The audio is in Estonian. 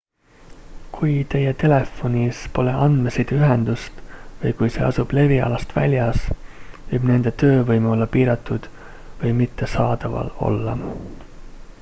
kui teie telefonis pole andmesideühendust või kui see asub levialast väljas võib nende töövõime olla piiratud või mitte saadaval olla